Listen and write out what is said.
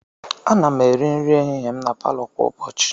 Ana m eri nri ehihie m na palọ kwa ụbọchị.